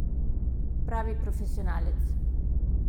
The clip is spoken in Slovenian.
Pravi profesionalec!